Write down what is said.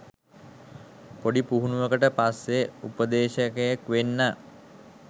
පොඩි පුහුණුවකට පස්සෙ උපදේශකයෙක් වෙන්න